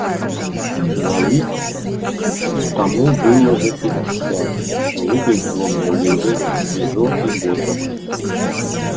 на вид тому было за пятьдесят но выглядел он на удивление свежо и бодро